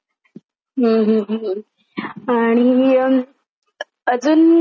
आणि अजून पिक्चर तसा कुठला बघितलाय तुम्ही?